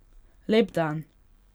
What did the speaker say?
Lep dan.